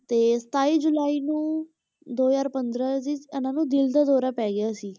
ਤੇ ਸਤਾਈ ਜੁਲਾਈ ਨੂੰ ਦੋ ਹਜ਼ਾਰ ਪੰਦਰਾਂ ਵਿੱਚ ਇਹਨਾਂ ਨੂੰ ਦਿਲ ਦਾ ਦੌਰਾ ਪੈ ਗਿਆ ਸੀ,